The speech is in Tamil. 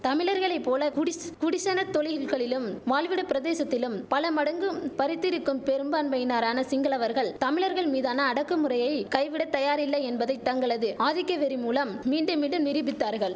தமிழர்களை போல குடிஸ் குடிசன தொழில்களிலும் வாழ்விட பிரதேசத்திலும் பலமடங்கும் பரித்திருக்கும் பெரும்பான்மையினரான சிங்களவர்கள் தமிழர்கள் மீதான அடக்கு முறையை கைவிட தயாரில்லை என்பதை தங்களது ஆதிக்க வெறி மூலம் மீண்டும் மீண்டும் நிரூபித்தார்கள்